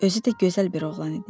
Özü də gözəl bir oğlan idi.